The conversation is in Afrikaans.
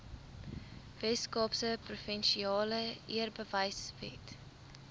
weskaapse provinsiale eerbewysewet